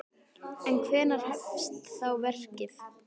En hvenær hefst þá verkið?